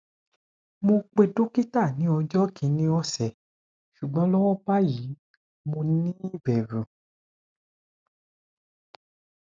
mo pe dokita ni ojo kini ose sugbon lowo bayi mo ni iberu